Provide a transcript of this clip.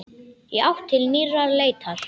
Í átt til nýrrar leitar.